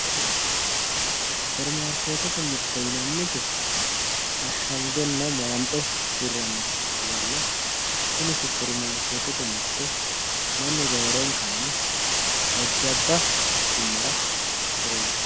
Superimaarketete mirte yinanniti ashangenna gonde hiranitta ikkittanna tini superimaarketete mirte mannu roorenkanni jajjabba quchuma horonsirano.